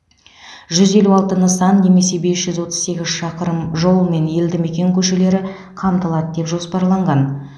жүз елу алты нысан немесе бес жүз отыз сегіз шақырым жол мен елді мекен көшелері қамтылады деп жоспарланған